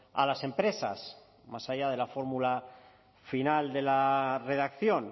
a las empresas más allá de la fórmula final de la redacción